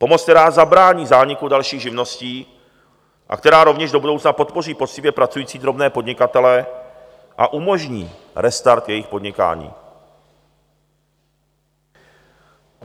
Pomoc, která zabrání zániku dalších živností a která rovněž do budoucna podpoří poctivě pracující drobné podnikatele a umožní restart jejich podnikání.